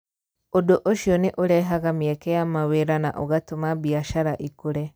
Ũndũ ũcio nĩ ũrehaga mĩeke ya mawĩra na ũgatũma biacara ikũre.